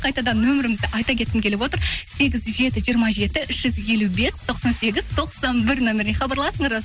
қайтадан нөмірімізді айта кеткім келіп отыр сегіз жеті жиырма жеті үш жүз елу бес тоқсан сегіз тоқсан бір нөміріне хабарласыңыздар